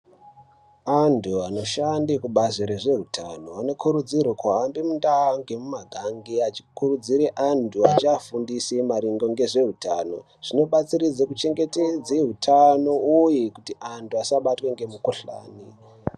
Antu anoshande kubazi rezveutano anokurudzirwe kuhambe mumakanyi nemumiganga achikurudzire antu achiafundise maringe ngezveutano. Zvinobatsire kuchengetedze utano uye kuti antu asabatwe ngemikhuhlani.